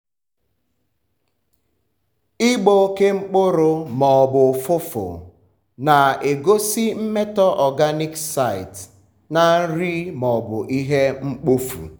ịgbọ oke mkpụrụ ma ọ bụ ụfụfụ na-egosi mmetọ organic site na nri ma ọ bụ ihe mkpofu.